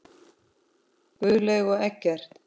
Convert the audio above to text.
Guðlaug og Eggert.